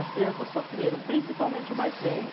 As crianças sofreram, principalmente o mais velho.